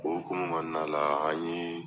O okuma kɔnɔna la an ye